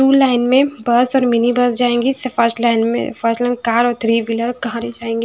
Tool line में बहुत सारी मिनी बस जाएंगी स फास्ट लाइन में फर्स्ट लाइन कार और थ्री व्हीलर और खहारे जाएंगी।